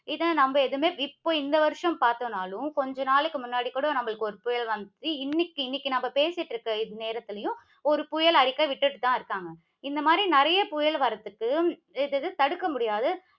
இதை நாம எதுவுமே, இப்ப இந்த வருஷம் தாக்கலைன்னாலும் கொஞ்ச நாளைக்கு முன்னாடி கூட நமக்கு ஒரு புயல் வந்தது. இன்னைக்கு, இன்னைக்கு நாம பேசிக்கிட்டு இருக்கிற இந்த நேரத்திலேயும், ஒரு புயல் அறிக்கை விட்டுகிட்டு தான் இருக்காங்க. இந்த மாதிரி நிறைய புயல் வர்றதுக்கு இது தடுக்க முடியாது